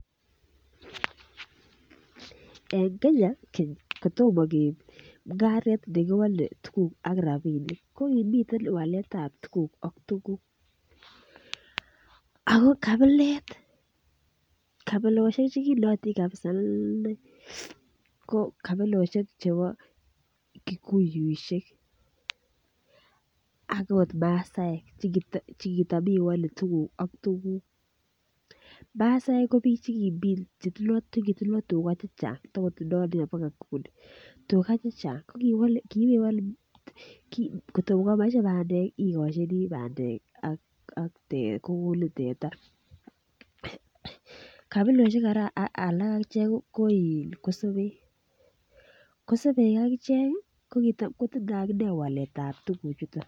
En Kenya keny kotomo keib mung'aret nekiwole tuguk ak rapinik ko kimiten waletab tuguk ak tuguk ako kabilet kabilosiek chekinootin kabisa inei ko kabilosiek chebo kikuyuisiek akot masaek chekitam iwole tuguk ak tuguk, masaek ko biik chekitindoo tuga chechang tokotindoo baka nguni ko kiibewole kotokomoche bandek ikochini bandek ak kokonin teta kabilosiek alak kora ko kosobek, kosobek ak ichek ih kotindoo akichek waletab tuguk chuton